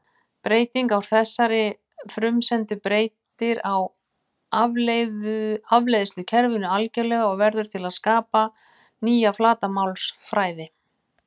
Breyting á þessari frumsendu breytir afleiðslukerfinu algjörlega og verður til að skapa nýja flatarmálsfræði.